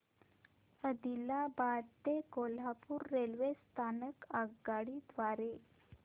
आदिलाबाद ते कोल्हापूर रेल्वे स्थानक आगगाडी द्वारे